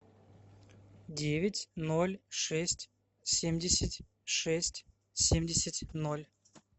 девять ноль шесть семьдесят шесть семьдесят ноль